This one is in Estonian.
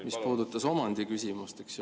… mis puudutas omandiküsimust.